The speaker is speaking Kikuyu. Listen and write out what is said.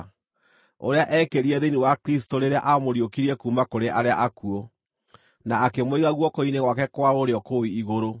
ũrĩa eekĩrire thĩinĩ wa Kristũ rĩrĩa aamũriũkirie kuuma kũrĩ arĩa akuũ, na akĩmũiga guoko-inĩ gwake kwa ũrĩo kũu igũrũ,